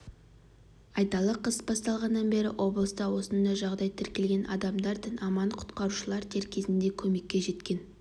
айталық қыс басталғаннан бері облыста осындай жағдай тіркелген адамдар дін аман құтқарушылар дер кезінде көмекке жеткен